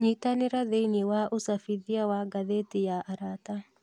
Nyitanĩra thĩinĩ wa ũcabithia wa ngathĩti ya arata